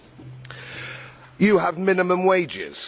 We have minimum wages.